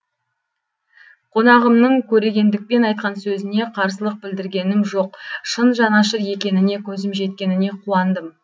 қонағымның көрегендікпен айтқан сөзіне қарсылық білдіргенім жоқ шын жанашыр екеніне көзім жеткеніне қуандым